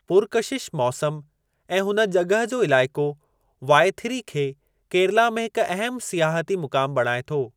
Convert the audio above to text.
पुरकशिश मौसम ऐं हुन जॻह जो इलाइक़ो वाइथिरी खे केरला में हिक अहम सियाहती मुक़ामु बणाए थो।